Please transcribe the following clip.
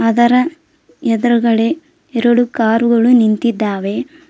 ಅದರ ಎದುರುಗಡೆ ಎರಡು ಕಾರು ಗಳು ನಿಂತಿದ್ದಾವೆ.